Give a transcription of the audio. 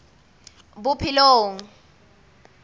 bophelong